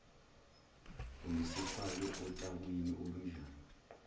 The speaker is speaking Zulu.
usezifake otakwini olunjani